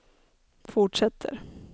fortsätter